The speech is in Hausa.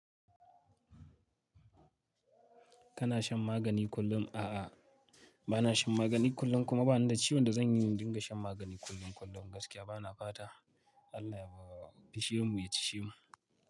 Kana shan magani kullum? A'a, ba na shan magani kullum kuma ba ni da ciwon da zan yi in dinga shan magani kullum kullum gaskiya ba na fata Allah ya fisshe mu ya cisshe mu.